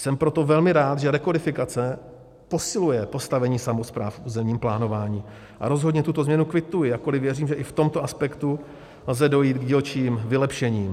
Jsem proto velmi rád, že rekodifikace posiluje postavení samospráv v územním plánování, a rozhodně tuto změnu kvituji, jakkoliv věřím, že i v tomto aspektu lze dojít k dílčím vylepšením.